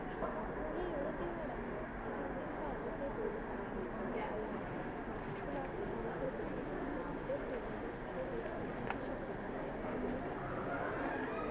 ਇਹ ਉਹ ਦਿਹਾੜਾ ਹੈ ਜਿਸ ਦਿਨ ਭਾਰਤ ਦੇ ਲੋਕ ਆਪਣੇ ਉਨ੍ਹਾਂ ਆਜ਼ਾਦੀ ਘੁਲਾਟੀਆਂ ਦੀਆਂ ਕੁਰਬਾਨੀਆਂ ਅਤੇ ਵੱਢੇ ਵੱਢੇਰੀਆਂ ਦੇ ਕੀਤੇ ਗਏ ਕੰਮਾਂ ਬਾਰੇ ਸ਼ੁਕਰਾਨੇ ਨਾਲ ਚੇਤੇ ਕਰਦੇ ਹਨ